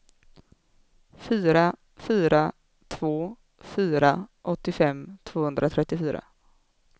fyra fyra två fyra åttiofem tvåhundratrettiofyra